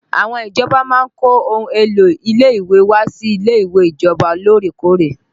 Àwọn ìjọba máa ń kó ohun èlò ilé ìwé wá sí ilé ìwé ìjọba lórèkóòrè